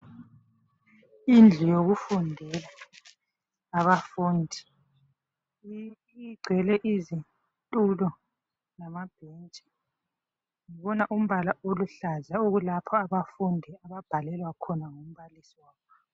Indlu yokufundela abafundi igcwele izitulo lamabhentshi bona umbala oluhlaza okulapho abafundi babhalelwa khona ngumbalisi wabo.